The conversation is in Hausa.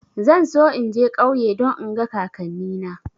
Zan so in je ƙauye don in ga kakanni na